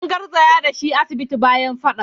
An garzaya da shi asibiti bayan fadan.